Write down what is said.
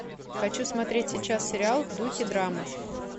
хочу смотреть сейчас сериал в духе драмы